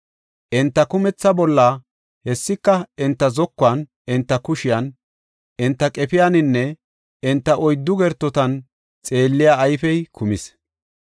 Enta kumetha bolla, hessika enta zokuwan, enta kushiyan, enta qefiyaninne enta oyddu gertotan xeelliya ayfey kumis.